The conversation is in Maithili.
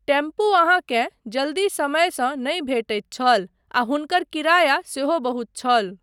टेम्पू अहाँकेँ जल्दी समयसँ नहि भेटैत छल आ हुनकर किराया सेहो बहुत छल।